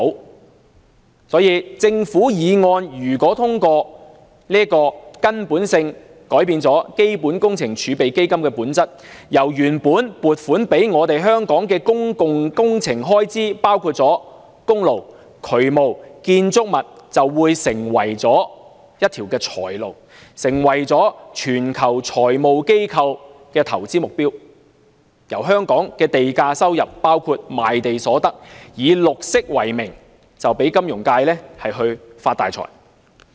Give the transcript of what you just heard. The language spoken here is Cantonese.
因此，如果政府的擬議決議案獲得通過，將會根本地改變基本工程儲備基金的本質，原本撥予香港公共工程的款項，包括公路、渠務和建築物等就會成為一條財路，成為全球金融機構的投資對象；香港的地價收入，包括賣地所得，就會以綠色為名讓金融界發大財。